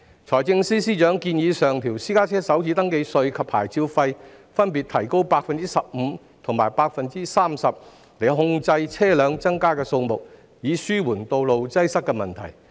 財政司司長建議上調私家車首次登記稅及牌照費，加幅分別為 15% 及 30%， 以控制車輛增加的數目，紓緩道路擠塞的問題。